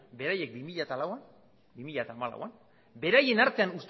beraiek bi mila hamalauean beraien artean